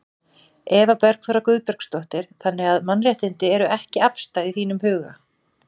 Eva Bergþóra Guðbergsdóttir: Þannig að mannréttindi eru ekki afstæð í þínum huga?